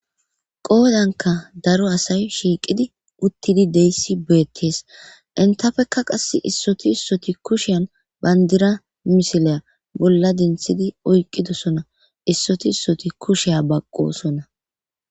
qoodanka daro asay shiiqidi uttidi de'ishe beettees entappekka qase issoti issoti kusheyan bandira misiliya bolla denthidi oyqqidosona issoti issoti kushiya baqqosona